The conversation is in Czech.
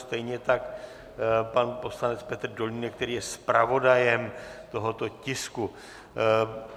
Stejně tak pan poslanec Petr Dolínek, který je zpravodajem tohoto tisku.